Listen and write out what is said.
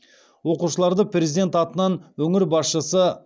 оқушыларды президент атынан өңір басшысы